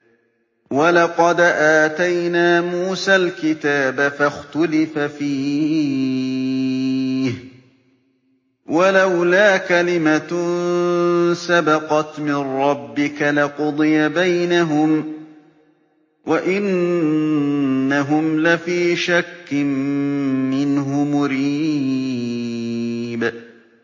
وَلَقَدْ آتَيْنَا مُوسَى الْكِتَابَ فَاخْتُلِفَ فِيهِ ۗ وَلَوْلَا كَلِمَةٌ سَبَقَتْ مِن رَّبِّكَ لَقُضِيَ بَيْنَهُمْ ۚ وَإِنَّهُمْ لَفِي شَكٍّ مِّنْهُ مُرِيبٍ